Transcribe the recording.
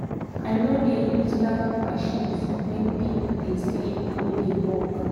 i no dey use loud machines when pipo dey sleep or dey work.